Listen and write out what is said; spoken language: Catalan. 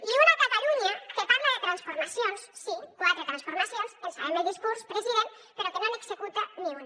i una catalunya que parla de transformacions sí quatre transformacions ens sabem el discurs president però que no n’executa ni una